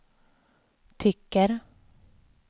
tycker